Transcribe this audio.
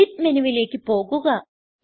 edit മെനുവിലേക്ക് പോകുക